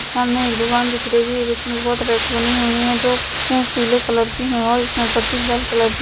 सामने एक दुकान दिख रही है इसमें बहुत रैक बनी हुई है जो पीले कलर की है और इसमें पट्टी लाल कलर की--